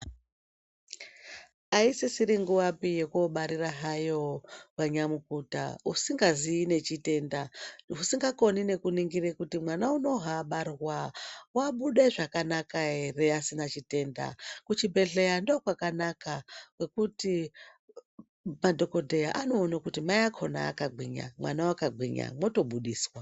Ayisisiri nguva yokuyobarira hayo vanyamukuta usinga zivi nechitenda, usingakoni nekuningire kuti mwana unobarwa wabude zvakanaka here asina chitenda.?Kuchibhedleya ndokwakanaka ngekuti madhokodheya anowona kuti mai akona akagwinya, mwana akagwinya moto budiswa.